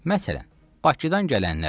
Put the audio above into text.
Məsələn, Bakıdan gələnlər kifayətdir.